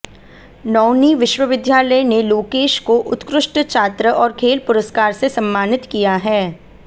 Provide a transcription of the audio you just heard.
नौणी विश्वविद्यालय ने लोकेश को उत्कृष्ट छात्र और खेल पुरस्कार से सम्मानित किया है